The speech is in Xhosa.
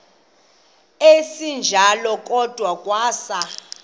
esinjalo kwada kwasa